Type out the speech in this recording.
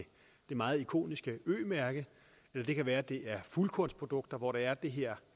det meget ikoniske ø mærke eller det kan være det er fuldkornsprodukter hvor der er det her